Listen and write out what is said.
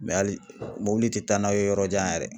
hali mobili tɛ taa n'a' ye yɔrɔ jan yɛrɛ.